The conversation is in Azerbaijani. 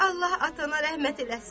Allaha atana rəhmət eləsin.